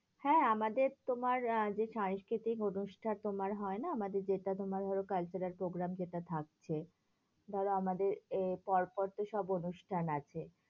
হ্যাঁ, আমাদের তোমার আহ যে, সাংস্কৃতিক অনুষ্ঠান তোমার হয় না? আমাদের যেটা তোমার ধরো cultural programme যেটা থাকছে। ধরো আমাদের এ পর পর তো সব অনুষ্ঠান আছে